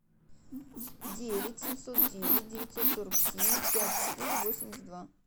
девять семьсот девять девятьсот сорок семь пять четыре восемьдесят два